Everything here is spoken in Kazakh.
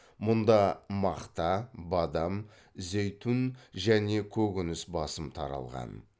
мұнда мақта бадам зәйтүн және көкөніс басым таралған